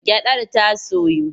Gyaɗar ta soyu?